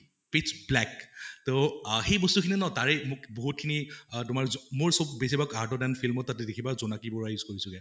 pitch black তʼ আহ সেই বস্তু খিনি ন তাৰে মোক বহুত খিনি অহ তোমাৰ মোৰ চব বেছি ভাগ film অত তাত দেখিবা জোনাকী পৰিৱা use কৰিছোগে